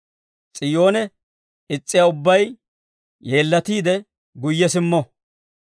S'iyoone is's'iyaa ubbay, yeellatiide guyye simmo.